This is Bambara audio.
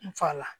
N fa la